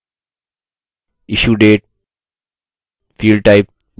issue date field type date